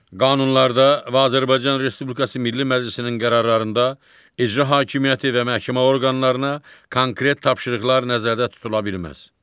Qanunlarda və Azərbaycan Respublikası Milli Məclisinin qərarlarında icra hakimiyyəti və məhkəmə orqanlarına konkret tapşırıqlar nəzərdə tutula bilməz.